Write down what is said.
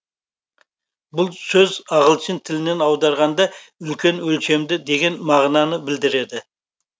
бұл сөз ағылшын тілінен аударғанда үлкен өлшемді деген мағынаны білдіреді